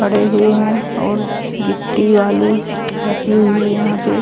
खड़े हुए है और गिट्टी बालू रखी हुई है यहाँ पे।